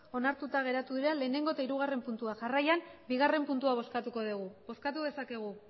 onartuta geratu dira lehenengo eta hirugarren puntua jarraian bigarren puntua bozkatuko dugu bozkatu dezakegu